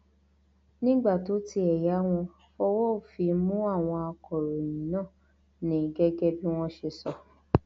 nígbà tó tiẹ yá wọn fọwọ òfin mú àwọn akọròyìn náà ni gẹgẹ bí wọn ṣe sọ